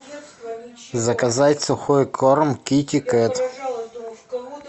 заказать сухой корм китикет